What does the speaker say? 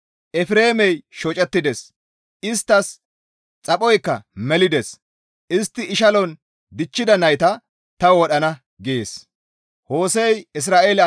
Efreemey shocettides; isttas xaphoykka melides; Istti ishalon dichchida nayta ta wodhana» gees.